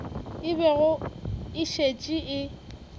e bego e šetše e